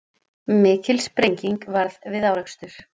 Mikil sprenging varð við árekstur